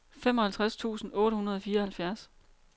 femoghalvtreds tusind otte hundrede og fireoghalvfjerds